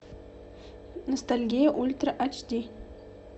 ностальгия ультра эйч ди